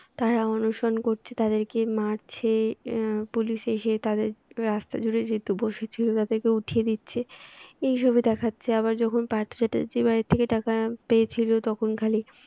তারা অনশন করছে তাদেরকে মারছে আহ পুলিশ এসে তাদের রাস্তায় যেহেতু বসে ছিল তাদেরকে উঠিয়ে দিচ্ছে এই সবই দেখাচ্ছে আবার যখন পার্থ চ্যাটার্জী বাড়ি থেকে টাকা পেয়েছিল তখন খালি